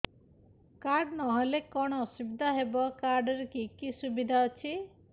card ନହେଲେ କଣ ଅସୁବିଧା ହେବ କାର୍ଡ ରେ କି କି ସୁବିଧା ଅଛି